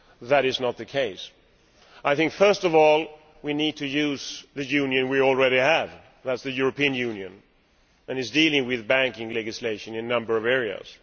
That is not the case. I think, first of all, that we need to use the Union we already have that is, the European Union which is dealing with banking legislation in a number of areas.